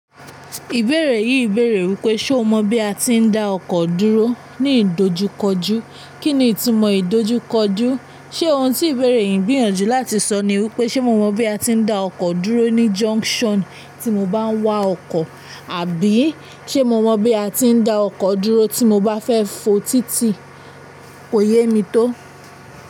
Ìbéèrè yìí bèèrè wípé ṣe o mọ bí a tí ń dá ọkọ̀ dúró ní ìdojúkọjú, kí ni ìtumọ̀ ìdojúkọjú? Ṣé ohun tí ìbéèrè yìí ń gbìyànjú láti sọ ni wípé ṣe mo mọ bí a tí ń dá ọkọ̀ dúró ní junction tí mo bá ń wa ọkọ̀? Àbí ṣe mo mọ bí a tí ń dá ọkọ̀ dúró tí mo bá fẹ́ fo títì? Kò yé mi tó.